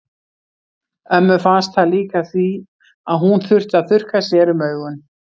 Ömmu fannst það líka því að hún þurfti að þurrka sér um augun.